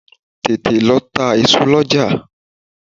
Tètè lọ ta èso lọ́jà!